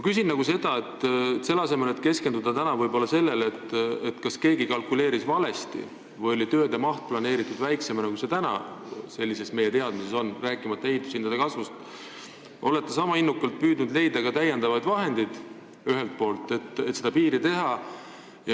Kas te selle asemel, et keskenduda võib-olla sellele, kas keegi kalkuleeris valesti või oli tööde maht planeeritud väiksemana, kui see meie tänaste teadmiste järgi on, rääkimata ehitushindade kasvust, olete sama innukad püüdes leida lisavahendeid, et see piir valmis teha?